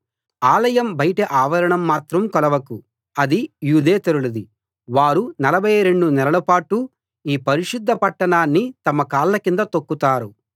ఆలయం బయటి ఆవరణం మాత్రం కొలవకు అది యూదేతరులది వారు నలభై రెండు నెలల పాటు ఈ పరిశుద్ధ పట్టణాన్ని తమ కాళ్ళ కింద తొక్కుతారు